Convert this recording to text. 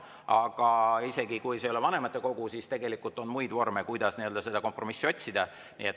Aga isegi kui see ei ole vanematekogu, siis tegelikult on muid vorme, kus seda kompromissi otsida.